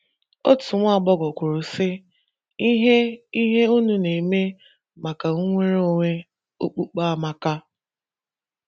Otu nwa agbọghọ kwuru, sị: “ Ihe: “ Ihe unu na - eme maka nnwere onwe okpukpe amaka.